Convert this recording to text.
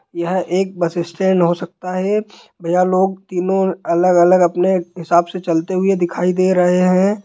यह एक bus stand हो सकता है| भईया लोग तीनों अलग-अलग अपने हिसाब से चलते हुए दिखाई दे रहे हैं।